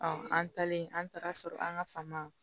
an taalen an taara sɔrɔ an ka fama